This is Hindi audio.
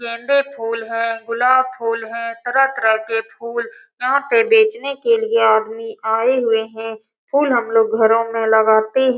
गेंदे फूल है गुलाब फूल है तरह तरह के फूल यहाँ पे बेचने के लिए आदमी आये हुए है फूल हमलोग घरो में लगाते --